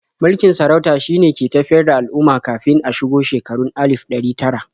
Mulkin sarauta shine ke tafiyar da al'umma kafin a shigo shekarun alif ɗari tara.